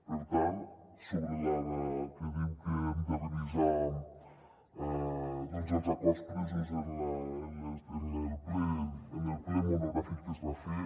per tant sobre allò que diu que hem de revisar els acords presos en el ple mono·gràfic que es va fer